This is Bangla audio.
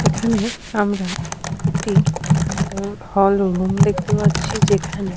এখানে আমরা একটি হল রুম দেখতে পাচ্ছি যেখানে।